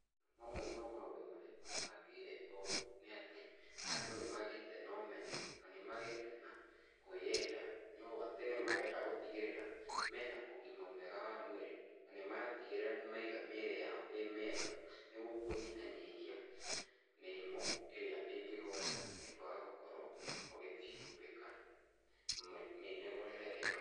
Mamwe ma maũndũ marĩa macangĩire ũũ nĩ atĩ, andũ nĩ magĩĩte na ũmenyo, na nĩ magĩĩte na kwĩyenda, nĩ ũũ atĩ nĩ marenda gũtigĩrĩra mena ũgima mwega wa mwĩrĩ na nĩmatigĩrĩra nĩmaiga mĩĩrĩ yao ĩ mĩega nĩguo kũnyihanyihia mĩrimũ ĩrĩa ĩngĩgũata nĩ kũaga gũkorwo ũgithii gwĩka mĩnogorere ĩno.